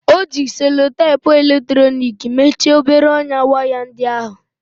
O ji selutepu eletrọnịki mechie obere ọnyá waya ndị ahụ.